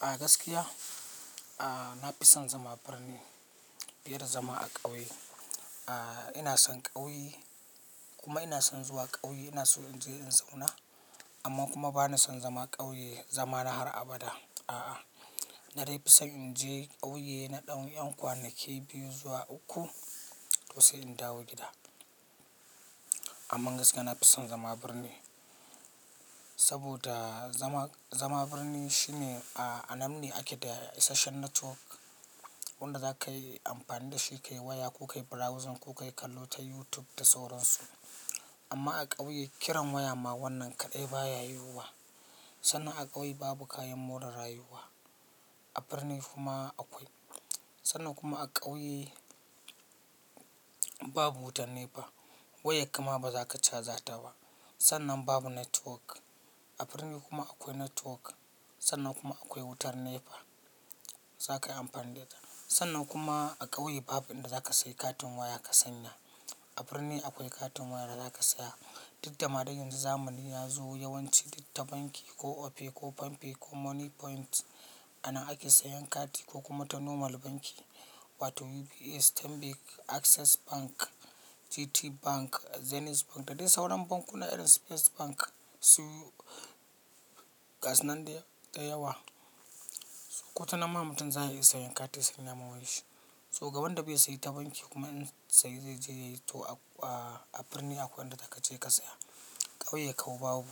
A gaskiya, a, nafi son zama a birni fiye da zama a ƙauye. A, ina son ƙauye kuma ina son zuwa ƙauye. Ina so in je in zauna amma kuma ba na son zama ƙauye zaman har abada. A'a, na dai fi son in je ƙauye na ɗan 'yan kwanak biyu zuwa uku to sai in dawo gida. Amman gaskiya nafi son zama birni saboda zama, zama birni shine a, a nan ne ake da isasshen network wanda zaka yi amfani da shi ka yi waya ko ka yi browsing ko ka yi kallo ta YouTube da sauran su. Amma a ƙauye kiran waya ma wannan kaɗai baya yiwuwa. Sannan a ƙauye babu kayan more rayuwa. A birni kuma akwai. Sannan kuma a ƙauye babu wutar nefa. Wayarka ma baza ka caza ta ba. Sannan babu network. A birni kuma akwai network. Sannan kuma akwai wutar nefa. Zaka yi amfani da ita. Sannan kuma a ƙauye babu inda za ka sayi katin waya ka sanya. A birni akwai katin waya da za ka saya. Duk da ma dan yanzu zamani ya zo yawanci ta banki ko Opay ko Pampay ko Moniepoint anan ake sayan kati ko kuma ta normal banki wato UBA, Stanbic, Access Bank, GTBank, Zenith Bank da dai sauran bankuna irin Su first Bank su gasu nan dai, da yawa. Ko ta nan ma mutum zai iya sayan kati ya sanya ma wayar shi. To ga wanda bai sayi ta banki kuma in sayi zai je ya yi to a, a birni akwai inda zaka je ka saya. Ƙauye kau babu.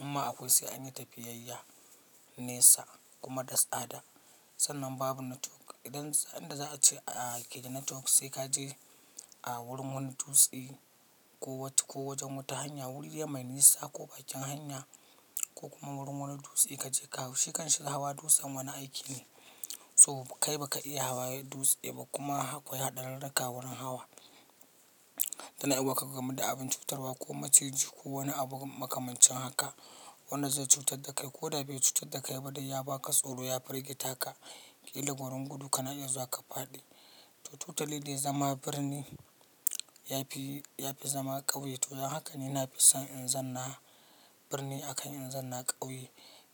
In ma akwai sai an yi tafiyayya Nesa kuma da tsada. Sannan babu network. Idan, sanda za a ce a keda network sai ka je a wurin wani dutse ko wacce ko wajen wata hanya wuri dai mai nisa ko bakin hanya ko kuma wurin wani dutse ka je ka hau. Shi kan shi ga hawa dutsen wani aiki ne. To kai baka iya hawa dutse ba kuma akwai haɗarurraka wurin hawa. Tana iya wa ka gamu da abin cutarwa ko maciji ko wani abu makamancin haka wanda zai cutar da kai ko da bai cutar da kai ba dai ya baka tsoro ya firgita ka. Ƙila gurin gudu ka na iya zuwa ka faɗi. To totally dai zama birni yafi, yafi zama ƙauye. To dan haka ni nafi son in zanna birni akan in zanna ƙauye.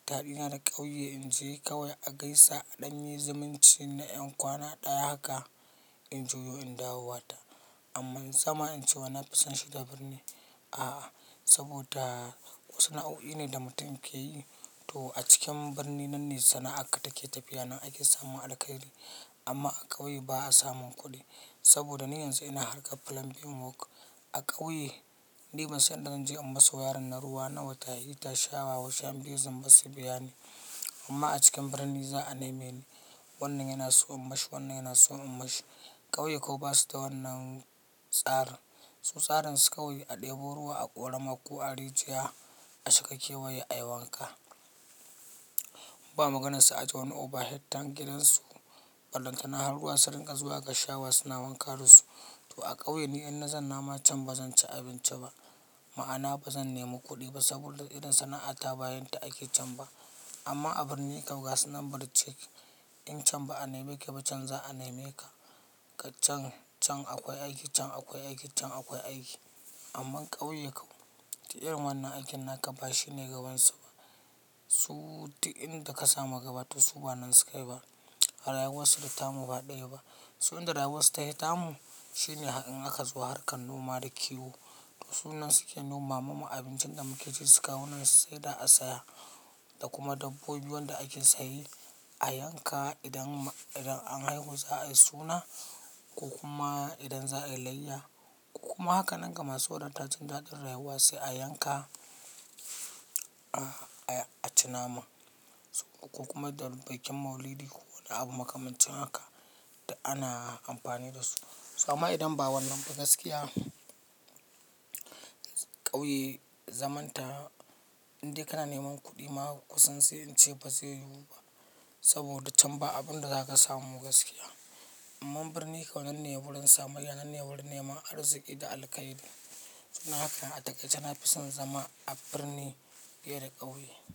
Daɗina da ƙauye in je kawai a gaisa a ɗan yi zumunci na ƴan kwana ɗaya haka in juyo in dawowa ta. Amman zama in ce wai nafi son shiga birni. A'a, saboda wasu sana'o'i ne da mutum yake yi. To a cikin birni nan ne sana'ar ka take tafiya nan ake samun alkhairi. Amma a ƙauye ba a samun kuɗi saboda ni yanzu ina harkar plumbing work. A ƙauye ni ban san in da zan je in masu wayarin na ruwa na wata hita shawa wasu ƴan biyu zan masa biya ne. Amma a cikin birni za a nema ni. Wannan yana so in mashi, wannan yana so in mashi. Ƙauye kau basu da wannan tsarin. Su tsarin su kawai a ɗebo ruwa a ƙorama ko a rijiya a shiga kewaye a yi wanka. Ba maganar su aje wani overhead tank gidan su. Ballantana har ruwan su ringa zuwa ga shawa suna wanka da su. To a ƙauye ni in na zanna ma can ba zan ci abinci ba. Ma'ana ba zan nemi kuɗi ba saboda irin sana'ata ba yinta ake can ba. Amma a birni kau gasu nan birjik, in can ba a neme ka ba can za a neme ka. Ka can, can akwai aiki, can akwai aiki, can akwai aiki. Amman ƙauye kau ta irin wannan aikin naka ba shine gabansu ba. Su ta inda ka sa ma gaba to su ba nan suka yi ba. A rayuwarsu da tamu ba ɗaya ba. Ta inda damarsu ta hi tamu shine in aka zo harkar noma da kiwo. To su nan suke noma mamu abincin da muke ci su kawo nan su saida a saya da kuma dabbobi wanda ake saye a yanka idan, idan an haihu za a yi suna ko kuma idan za a yi layya ko kuma haka nan ga masu wadata jin daɗin rayuwa sai a yanka, a, a ci nama. Ko kuma da bikin maulidi ko wani abu makamancin haka duk ana amfani da su. To amma idan ba wannan ba gaskiya ƙauye zamanta indai kana neman kuɗi ma kusan sai in ce ba zai yiwu ba saboda can ba abin da zaka samu gaskiya. Amman birni kau nan ne wurin samayya, nan ne wurin neman arziki da alkhairi. Dan haka, dla taƙaice nafi son zama a birni fiye da ƙauye.